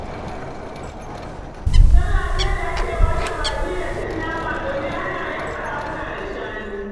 Salla ce da ake washe baki da cin nama domin ana yanka raguna da shanu.